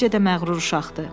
Necə də məğrur uşaqdır!